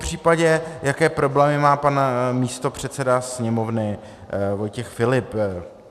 Popřípadě, jaké problémy má pan místopředseda Sněmovny Vojtěch Filip.